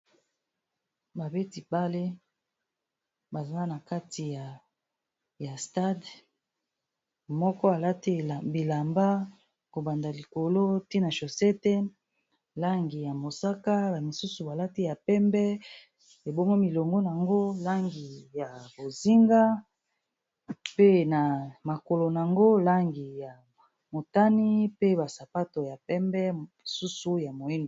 Babeti bale bazal na kati ya stade moko balati bilamba kobanda likolo tina shosete langi ya mosaka, amisusu balati ya pembe ebongwi milongo nango langi ya bozinga pe na makolo nango langi ya motani pe basapato ya pembe, mosusu ya moini.